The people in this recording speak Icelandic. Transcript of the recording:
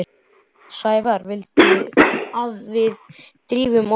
Sævar vildi að við drifum okkur.